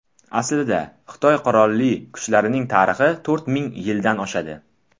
Aslida, Xitoy qurolli kuchlarining tarixi to‘rt ming yildan oshadi.